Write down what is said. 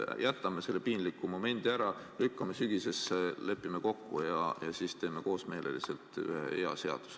Jätame selle piinliku momendi ära, lükkame selle teema sügisesse ja teeme siis koosmeeles ühe hea seaduse.